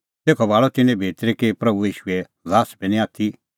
तेखअ भाल़अ तिन्नैं भितरी कि प्रभू ईशूए ल्हास बी निं इधी आथी